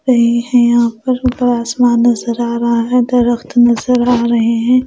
रही है यहां पर ऊपर आसमान नजर आ रहा है दरख्त नजर आ रहे हैं।